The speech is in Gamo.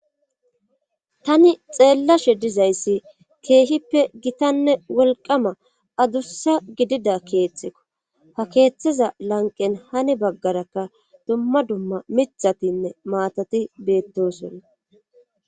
Tani xeellashe dizayssi keehippe gitanne wolqama adussa gidida keethteko ha keeththiza lanqen hani baggarakka dumma dumma mithatinne maatati beettosonna